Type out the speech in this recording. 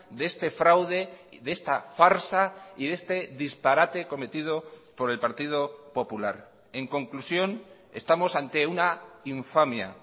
de este fraude de esta farsa y de este disparate cometido por el partido popular en conclusión estamos ante una infamia